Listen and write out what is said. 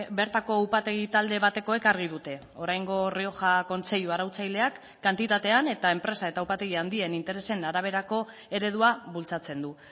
bertako upategi talde batekoek argi dute oraingo rioja kontseilu arautzaileak kantitatean eta enpresa eta upategi handien interesen araberako eredua bultzatzen du